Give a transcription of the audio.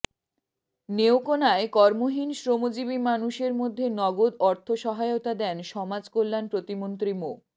নেত্রকোনায় কর্মহীন শ্রমজীবী মানুষের মধ্যে নগদ অর্থ সহায়তা দেন সমাজকল্যাণ প্রতিমন্ত্রী মো